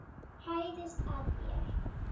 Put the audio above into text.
Hæðist að þér.